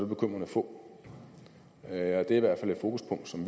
bekymrende få det er i hvert fald et fokuspunkt som